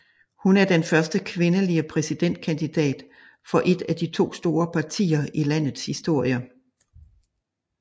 Hun er den første kvindelige præsidentkandidat for et af de to store partier i landets historie